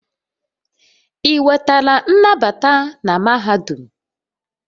Ị nwetala nnabata na mahadum?